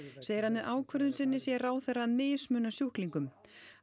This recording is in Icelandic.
segir að með ákvörðun sinni sé ráðherra að mismuna sjúklingum